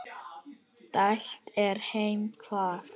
dælt er heima hvað.